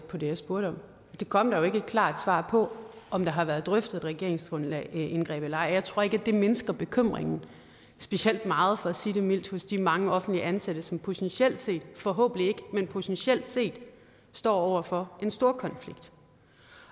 på det jeg spurgte om der kom jo ikke et klart svar på om der har været drøftet regeringsindgreb eller ej jeg tror ikke at det mindsker bekymringen specielt meget for at sige det mildt hos de mange offentligt ansatte som potentielt set forhåbentlig ikke men potentielt set står over for en storkonflikt